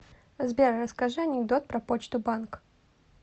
сбер расскажи анекдот про почту банк